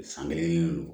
San kelen do